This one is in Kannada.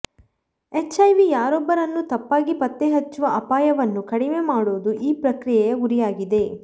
ಎಚ್ಐವಿ ಯಾರೊಬ್ಬರನ್ನೂ ತಪ್ಪಾಗಿ ಪತ್ತೆಹಚ್ಚುವ ಅಪಾಯವನ್ನು ಕಡಿಮೆ ಮಾಡುವುದು ಈ ಪ್ರಕ್ರಿಯೆಯ ಗುರಿಯಾಗಿದೆ